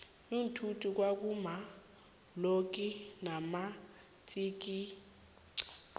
iinthuthi kwa kuma lonki namatsikixi